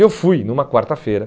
E eu fui numa quarta-feira.